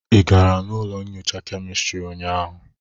Ị gara ụlọ nnyocha kemistrị ụnyaahụ?